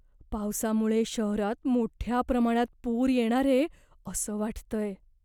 पावसामुळे शहरात मोठ्या प्रमाणात पूर येणारे असं वाटतंय.